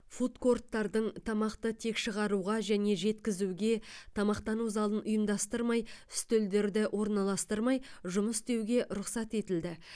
фуд корттардың тамақты тек шығаруға және жеткізуге тамақтану залын ұйымдастырмай үстелдерді орналастырмай жұмыс істеуге рұқсат етілді